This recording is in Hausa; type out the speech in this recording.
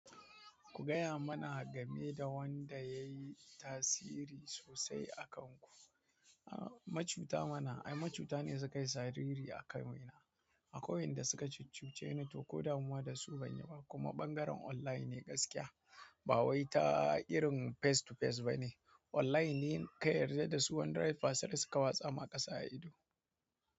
Ku gaya mana game da wanda ya yi tasiri sosai a kanku. Macuta mana, ai macuta ne suka yi sariri a kanmu ina, akwai wanda suka cuccuce ni to ko damuwa da su ban yi ba. Kuma ɓangaren online ne gaskiya, ba wai ta irin face to face ba ne. Online ne ka yarda da su wanda 100% suka watsa ma ƙasa a ido.